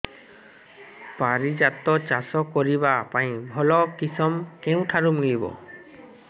ପାରିଜାତ ଚାଷ କରିବା ପାଇଁ ଭଲ କିଶମ କେଉଁଠାରୁ ମିଳିବ